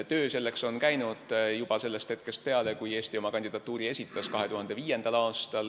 Töö selleks on käinud juba sellest hetkest peale, kui Eesti oma kandidatuuri esitas 2005. aastal.